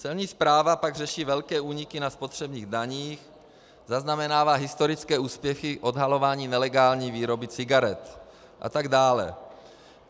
Celní správa pak řeší velké úniky na spotřebních daních, zaznamenává historické úspěchy odhalováním nelegální výroby cigaret a tak dále.